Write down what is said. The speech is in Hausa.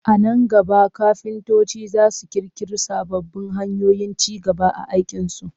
A nan gaba kafintoci za su ƙirƙiri sababbin hanyoyin ci gaba a aikinsu